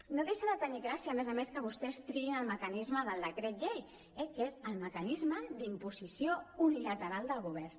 no deixa de tenir gràcia a més a més que vostès triïn el mecanisme del decret llei eh que és el mecanisme d’imposició unilateral del govern